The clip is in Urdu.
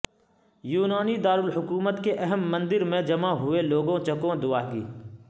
یونانی دارالحکومت کے اہم مندر میں جمع ہوئے لوگوں چکو دعا کی